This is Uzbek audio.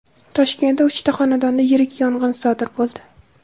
Toshkentda uchta xonadonda yirik yong‘in sodir bo‘ldi.